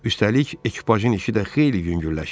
Üstəlik ekipajın işi də xeyli yüngülləşir.